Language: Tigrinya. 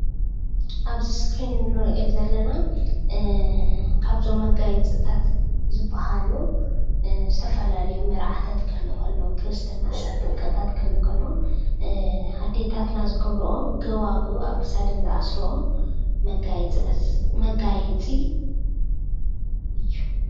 ኣብዚ እስክሪን ንርኦም ዘለና ካብዞም መጋየፅታት ዝባሃሉ ዝተፈላለዩ መርዓታት ክህሉ ከሎ ክርስትናን ጥምቀትን ክህሉ ከሎ ኣደታትና ዝገብረኦ ጎባጉም ኣብ ክሳደን ዝኣስረኦ መጋየፂ እዩ።